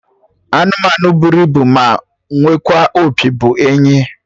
Anụmanụ bụrụ ibu ma nwekwa opi bụ enyi